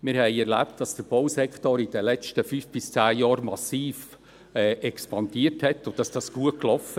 Wir haben erlebt, dass der Bausektor in den letzten fünf bis zehn Jahren massiv expandierte und dass es gut lief.